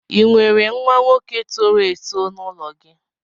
Ị nwere nwa nwoke toro èto n'ụlọ gị